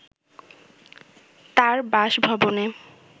তার বাসভবনে